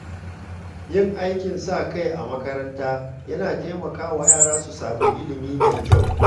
Yin aikin sa-kai a makaranta yana taimakawa yara su sami ilimi mai kyau.